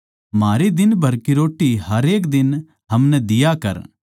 म्हारी दिन भर की रोट्टी हरेक दिन हमनै दिया कर